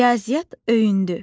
Riyaziyyat öyündü.